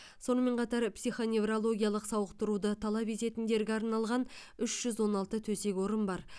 сонымен қатар психоневрологиялық сауықтыруды талап ететіндерге арналған үш жүз он алты төсек орын бар